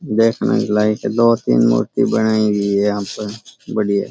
देखे लाइट में दो तीन मूर्ति बनाई गई है यहाँ पे बढ़िया।